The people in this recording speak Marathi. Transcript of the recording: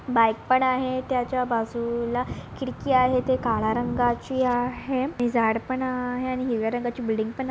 बाइक पण आहे. त्याच्या बाजूला खिडकी आहे ती काळ्या रंगाची आहे आणि झाड पण आहे आणि हिरव्या रंगाची बिल्डिंग पण आ --